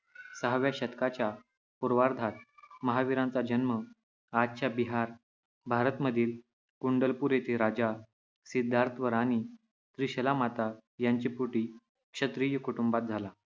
सहाव्या शतकाच्या पूर्वार्धात महावीरांचा जन्म आजच्या बिहार, भारत मधील कुंडलपूर येथे राजा सिद्धार्थ व राणी त्रिशलामाता यांचे पोटी क्षत्रिय कुटुंबात झाला.